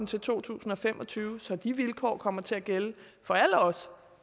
til to tusind og fem og tyve så de vilkår kommer til at gælde for alle os